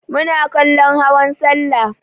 Muna kallon hawan sallah.